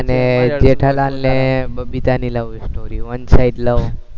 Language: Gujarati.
અને જેઠાલાલ અને બબીતાની lovestory, one side love